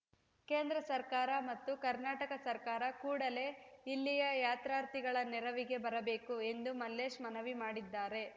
ಕೇಂದ್ರ ಸರ್ಕಾರ ಮತ್ತು ಕರ್ನಾಟಕ ಸರ್ಕಾರ ಕೂಡಲೇ ಇಲ್ಲಿಯ ಯಾತ್ರಾರ್ಥಿಗಳ ನೆರವಿಗೆ ಬರಬೇಕು ಎಂದು ಮಲ್ಲೇಶ್‌ ಮನವಿ ಮಾಡಿದ್ದಾರೆ